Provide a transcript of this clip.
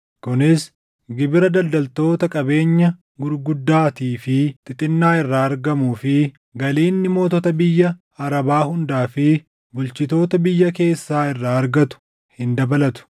kunis gibira daldaltoota qabeenya gurguddaatii fi xixinnaa irraa argamuu fi galii inni mootota biyya Arabaa hundaa fi bulchitoota biyya keessaa irraa argatu hin dabalatu.